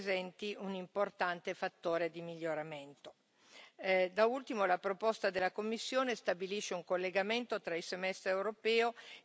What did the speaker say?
Da ultimo, la proposta della Commissione stabilisce un collegamento tra il semestre europeo e le raccomandazioni specifiche per paese e gli investimenti del FSE.